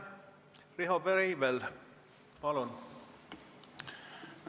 Riho Breivel, palun!